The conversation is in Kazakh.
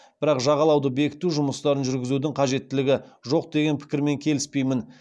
бірақ жағалауды бекіту жұмыстарын жүргізудің қажеттілігі жоқ деген пікірмен келіспеймін